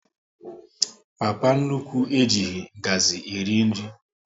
Papa nnukwu e jighị ngazi eri nri